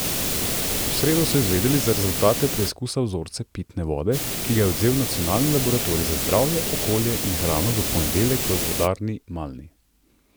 V sredo so izvedeli za rezultate preizkusa vzorca pitne vode, ki ga je odvzel Nacionalni laboratorij za zdravje, okolje in hrano v ponedeljek v vodarni Malni.